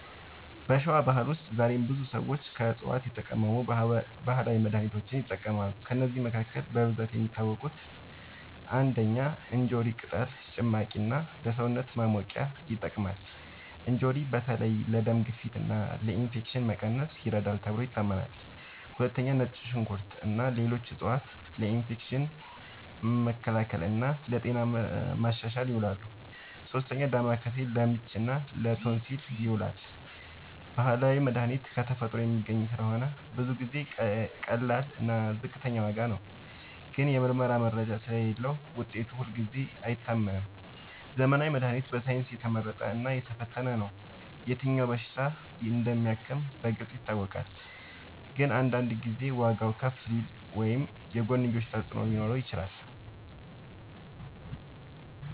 በሸዋ ባህል ውስጥ ዛሬም ብዙ ሰዎች ከዕፅዋት የተቀመሙ ባህላዊ መድሃኒቶችን ይጠቀማሉ። ከእነዚህ መካከል በብዛት የሚታወቁት፦ ፩. እንጆሪ ቅጠል ጭማቂ እና ለሰውነት ማሞቂያ ይጠቅማል። እንጆሪ በተለይ ለደም ግፊት እና ለኢንፌክሽን መቀነስ ይረዳል ተብሎ ይታመናል። ፪. ነጭ ሽንኩርት እና ሌሎች ዕፅዋት ለኢንፌክሽን መከላከል እና ለጤና ማሻሻል ይውላሉ። ፫. ዳማከሴ ለምች እና ለቶንሲል ይዉላል። ባህላዊ መድሃኒት ከተፈጥሮ የሚገኝ ስለሆነ ብዙ ጊዜ ቀላል እና ዝቅተኛ ዋጋ ነው። ግን የምርመራ መረጃ ስለሌለዉ ውጤቱ ሁልጊዜ አይታመንም። ዘመናዊ መድሃኒት በሳይንስ የተመረጠ እና የተፈተነ ነው። የትኛው በሽታ እንደሚያክም በግልጽ ይታወቃል። ግን አንዳንድ ጊዜ ዋጋዉ ከፍ ሊል ወይም የጎንዮሽ ተፅዕኖ ሊኖረው ይችላል።